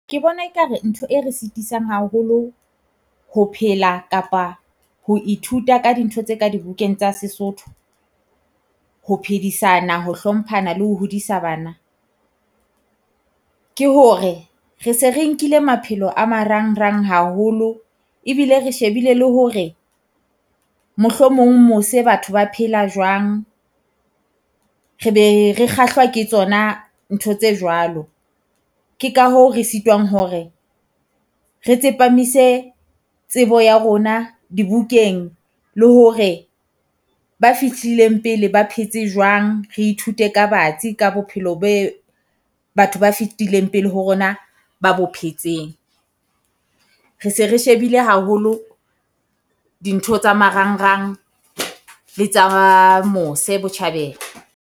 Ke bona e ka re ntho e re sitisang haholo ho phela kapa ho ithuta ka dintho tse ka di bukeng tsa Sesotho, ho phedisana, ho hlomphana le ho hodisa bana. Ke hore re se re nkile maphelo a marangrang haholo. Ebile re shebile le hore mohlomong mose batho ba phela jwang re be re kgahlwa ke tsona ntho tse jwalo. Ke ka hoo re sitwang hore re tsepamise tsebo ya rona dibukeng, le hore ba fihlileng pele ba phetse jwang. Re ithute ka batsi ka bophelo be batho ba fitileng pele ho rona ba bo phetseng. Re se re shebile haholo dintho tsa marangrang le tsa ba mose botjhabela.